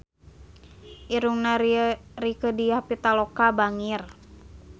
Irungna Rieke Diah Pitaloka bangir